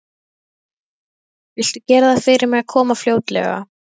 Maturinn er til, Þröstur, kallaði hún inní stofu.